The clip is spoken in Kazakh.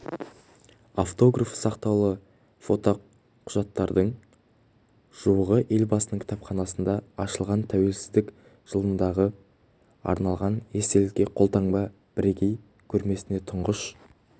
автографы сақтаулы фото құжаттардың жуығы елбасының кітапханасында ашылған тәуелсіздіктің жылдығына арналған естелікке қолтаңба бірегей көрмесіне тұңғыш